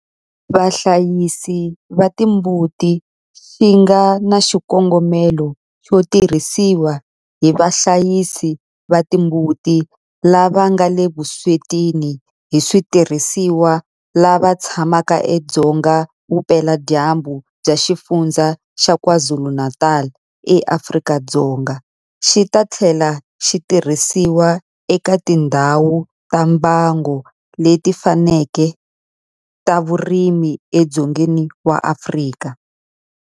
Vahlayisi va timbuti xi nga na xikongomelo xo tirhisiwa hi vahlayisi va timbuti lava nga le vuswetini hi switirhisiwa lava tshamaka edzonga vupeladyambu bya Xifundzha xa KwaZulu-Natal eAfrika-Dzonga, xi ta tlhela xi tirhisiwa eka tindhawu ta mbango leti fanaka ta vurimi edzongeni wa Afrika.